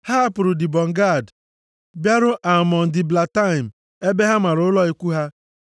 Ha hapụrụ Dibọn Gad bịaruo Almon Diblataim ebe ha mara ụlọ ikwu ha.